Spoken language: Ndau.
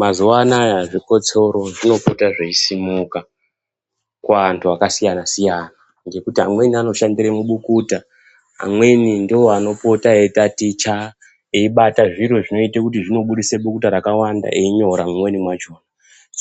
Mazuwa anaya zvikotsoro zvinopota zveisumuka kuantu akasiyana -siyana ngekuti amweni anoshandire mubukuta, amweni ndiwo anopota eitaticha eibata zviro zvinoita kuti zvinobudisa bukuta rakawanda einyora mumwe macho